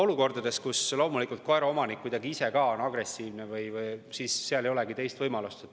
Olukordades, kus koeraomanik kuidagi ise ka on agressiivne, ei olegi teist võimalust.